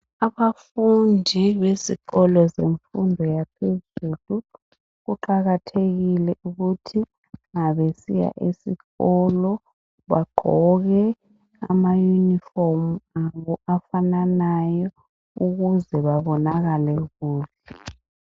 Abafundi besikolo semfundo yaphezulu kuqakathekile ukuthi ma besiya esikolo bagqoke ama yunifomu abo afananayo ukuze babonakale kuhle